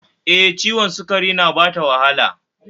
E, ciwon sukari na bata wahala